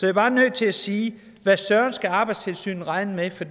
er bare nødt til at sige at hvad søren skal arbejdstilsynet regne med for